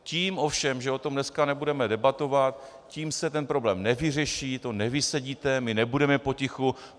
Tím ovšem, že o tom dneska nebudeme debatovat, tím se ten problém nevyřeší, to nevysedíte, my nebudeme potichu.